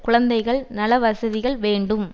குழந்தைகள் நலவசதிகள் வேண்டும்